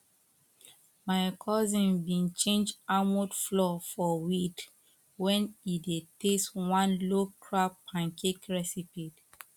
my cousin been change almond flour for wheat when e dey test one low crab pancake recipe